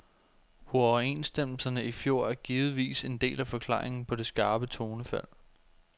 Uoverenstemmelserne i fjor er givetvis en del af forklaringen på det skarpe tonefald.